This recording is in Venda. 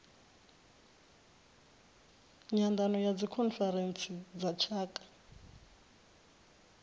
nyandano ya dzikhonferentsi dza tshaka